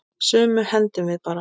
Sumu hendum við bara.